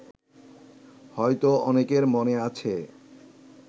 হয়তো অনেকের মনে আছে